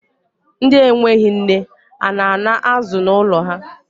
Ndi enweghi nne, a na-ana azụ n'ụlọ ha?